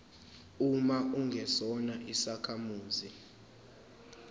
uma ungesona isakhamuzi